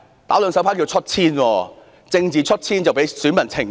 "打兩手牌"是"出千"作弊。政治"出千"會被選民懲罰。